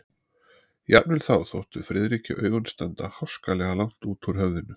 Jafnvel þá þóttu Friðriki augun standa háskalega langt út úr höfðinu.